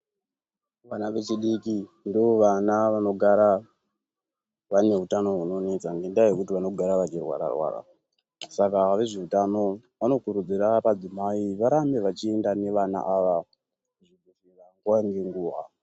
Vana vechidiki ndo vana vanogara vane utano hunonetsa ngenda yekuti vano gara ve chirwara rwara saka ve zveutano vano kurudzira madzimai varambe vachiinda ne vana ava kuzvi bhedhlera nguva ne nguva.